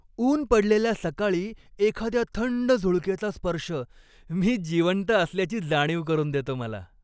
ऊन पडलेल्या सकाळी एखाद्या थंड झुळकेचा स्पर्श, मी जिवंत असल्याची जाणीव करून देतो मला.